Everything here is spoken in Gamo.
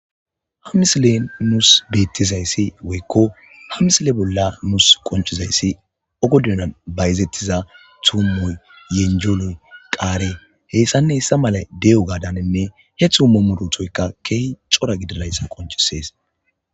ha misilen nuus beettizayssi woykko ha misile bolla nuus qonchizayssi ogodunan bayzettiza tuummoy yenjonoy qaare heyssanne hissa mala de7o gaadaninne he thuummo muru thoykka keehi cora gidirayssa qonchisees